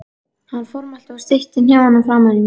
Hann formælti mér og steytti hnefann framan í mig.